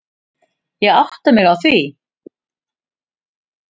Ég átta mig á því.